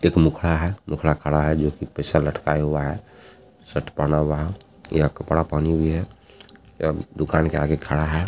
एक मुखडा है मुखडा खड़ा है जो के पैसा लटकाए हुआ है शर्ट पहना हुआ है या कपड़ा पहनी हुई है ऐब दुकान के आगे खडा है।